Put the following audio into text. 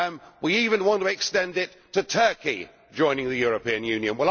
We even want to extend it to Turkey joining the European Union.